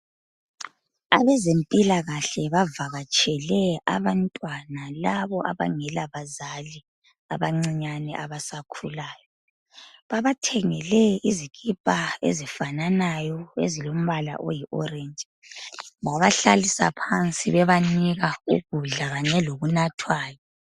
Abezempilakahle bavakatshele abantwana labo abangela bazali abancinyane abasakhulayo babathengele izikipa ezifananayo ezimbala oyi oleji babahlalisa phansi bebanika ukudla kunye lokunathwayo